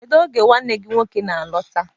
Kedu oge nwanne gị nwoke na-alọta?